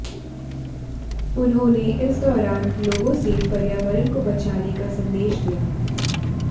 उन्होंने इस दौरान लोगों से पर्यावरण को बचाने का संदेश दिया